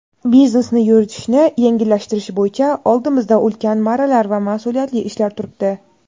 Biznesni yuritishni yengillashtirish bo‘yicha oldimizda ulkan marralar va masʼuliyatli ishlar turibdi.